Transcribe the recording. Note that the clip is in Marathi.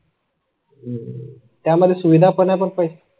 हम्म त्या मध्ये सुविधा पण आपण पैसे